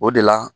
O de la